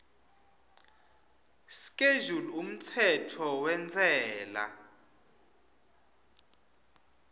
schedule umtsetfo wentsela